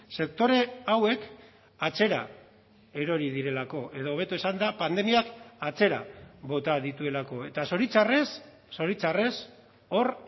sektore hauek atzera erori direlako edo hobeto esanda pandemiak atzera bota dituelako eta zoritxarrez zoritxarrez hor